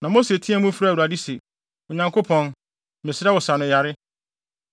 Na Mose teɛɛ mu frɛɛ Awurade se, “Onyankopɔn, mesrɛ wo sɛ sa no yare!”